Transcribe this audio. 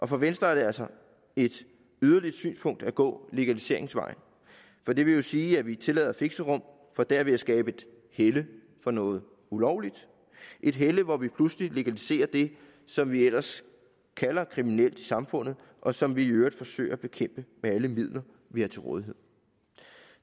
for venstre er det altså et yderligt synspunkt at gå legaliseringsvejen for det vil jo sige at vi tillader fixerum for derved at skabe et helle for noget ulovligt et helle hvor vi pludselig legaliserer det som vi ellers kalder kriminelt i samfundet og som vi i øvrigt forsøger at bekæmpe med alle de midler vi har til rådighed